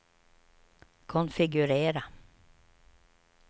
konfigurera